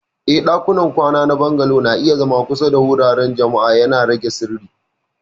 Eh, ɗakunan kwana na Bungalow na iya zama kusa da wuraren jama'a, yana rage sirri.